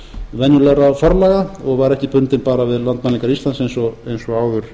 venjulegra forlaga og var ekki bundin bara við landmælingar íslands eins og áður